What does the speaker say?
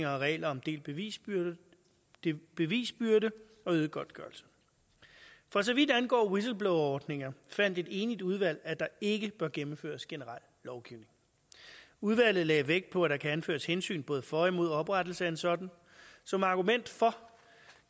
og regler om delt bevisbyrde det er bevisbyrde og øget godtgørelse for så vidt angår whistleblowerordninger fandt et enigt udvalg at der ikke bør gennemføres generel lovgivning udvalget lagde vægt på at der kan anføres hensyn både for og imod oprettelse af en sådan som argument for